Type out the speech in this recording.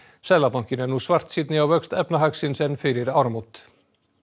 seðlabankinn er nú svartsýnni á vöxt efnahagsins en fyrir áramót